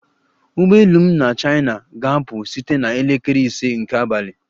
Ụgbọ elu m na China ga-apụ site na elekere ise nke abalị